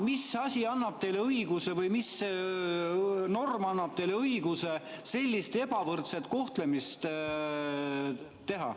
Mis asi annab teile õiguse või mis norm annab teile õiguse sellist ebavõrdset kohtlemist teha?